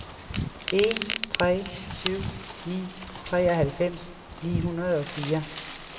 en tre syv ni treoghalvfems ni hundrede og fire